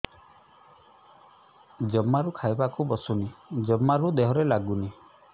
ଜମାରୁ ଖାଇବାକୁ ବସୁନି ଜମାରୁ ଦେହରେ ଲାଗୁନି